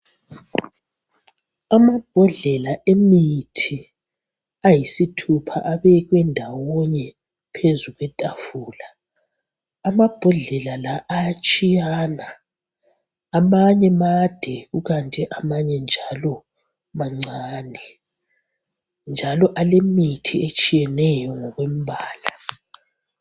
Amabhodlela emithi ayisithupha abekwe ndawonye phezu kwetafula ,amabhodlela la ayatshiyana .Amanye made ,amanye njalo mancane njalo imithi ephakathi kwawo ayifanani .